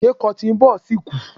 Ṣé cotton ball si ku?